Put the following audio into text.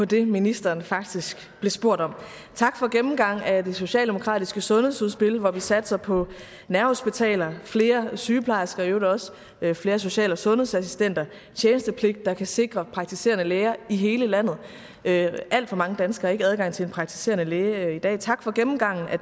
det ministeren faktisk blev spurgt om tak for gennemgang af det socialdemokratiske sundhedsudspil hvor vi satser på nærhospitaler flere sygeplejersker og i øvrigt også flere social og sundhedsassistenter tjenestepligt der kan sikre praktiserende læger i hele landet alt for mange danskere har ikke adgang til en praktiserende læge i dag tak for gennemgangen af